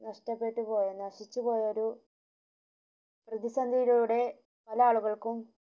നഷ്ടപ്പെട്ടുപോയ നശിച്ച പോയ ഒരു പ്രതിസന്ദീലുടെ പല ആളുകൾക്കും